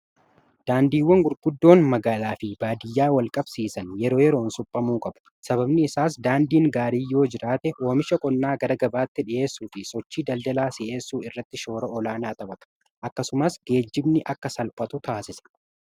Daandiiwwan gurguddoon magaalaa fi baadiyyaa wal qabsiisan yeroo yeroon suphamuu qabu. sababni isaas daandiin gaarii yoo jiraate oomisha qonnaa gara gabaatti dhi'eessuu fi sochii daldalaa si'eessuu irratti shoora olaanaa taphata akkasumas geejjibni akka salphatu taasisa.